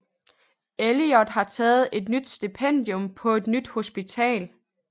Elliot har taget et nyt stipendium på et nyt hospital